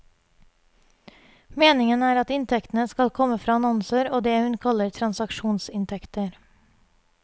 Meningen er at inntektene skal komme fra annonser og det hun kaller transaksjonsinntekter.